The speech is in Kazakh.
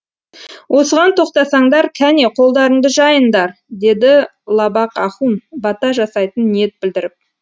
осыған тоқтасаңдар кәне қолдарыңды жайындар деді лабақ ахун бата жасайтын ниет білдіріп